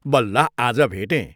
बल्ल आज भेटें।